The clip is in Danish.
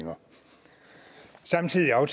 og